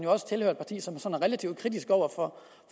også tilhører et parti som er sådan relativt kritiske over for